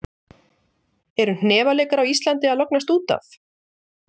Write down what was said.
Eru hnefaleikar á Íslandi að lognast út af?